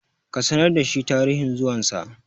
ka sanar da shi tarihin zuwansa!